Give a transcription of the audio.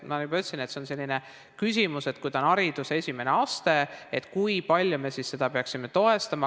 Ma juba ütlesin, et see on selline küsimus, et kui see on hariduse esimene aste, siis kui palju me seda peaksime toetama.